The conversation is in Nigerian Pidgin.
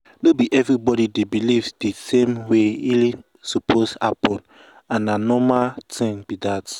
no be everybody dey believe di same way healing suppose happen and na norma thing be that.